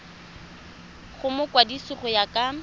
go mokwadise go ya ka